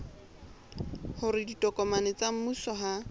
hore ditokomane tsa mmuso ha